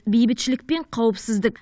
бейбітшілік пен қауіпсіздік